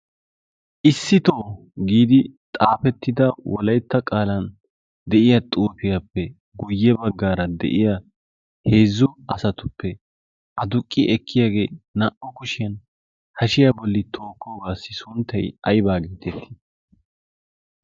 issitoo giidi xaafettida wolaytta qaalan de'iya xurfiyaappe guyye baggaara de'iya heezzu asatuppe a duqqi ekkiyaagee naa"u kushiyan hashiyaa bolli tookkoogaassi sunttay aybaa gii xeseettii